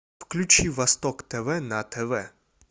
включи восток тв на тв